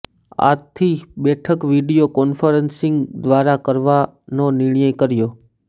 આથી બેઠક video conferencing દ્વારા કરવાનો નિર્ણય કર્યો